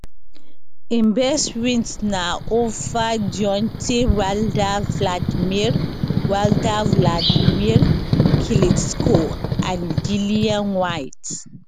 im best wins na ova deontay wilder wladimir wilder wladimir klitschko and dillian whyte